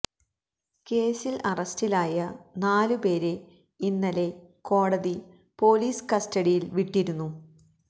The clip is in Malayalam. കേസില് അറസ്റ്റിലായ നാലു പേരെ ഇന്നലെ കോടതി പോലീസ് കസ്റ്റഡിയില് വിട്ടിരുന്നു